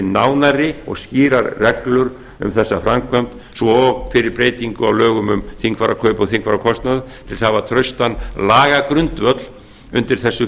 nánari og skýrar reglur um þessa framkvæmd svo og fyrir breytingu á lögum um þingfararkaup og þingfararkostnað til að hafa traustan lagagrundvöll undir þessu